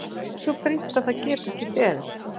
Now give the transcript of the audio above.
Hvað er svo brýnt að það geti ekki beðið?